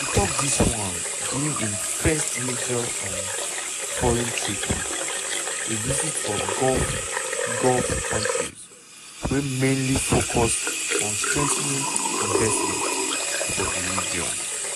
e tok dis wan during im first major um foreign trip - a visit of gulf gulf countries wey mainly focus on strengthening investment for di region.